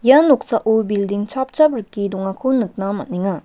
ia noksao bilding chapchap rike dongako nikna man·enga.